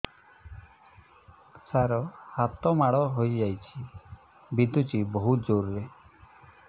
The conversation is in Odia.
ସାର ହାତ ମାଡ଼ ହେଇଯାଇଛି ବିନ୍ଧୁଛି ବହୁତ ଜୋରରେ